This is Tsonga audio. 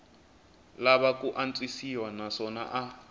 lava ku antswisiwa naswona a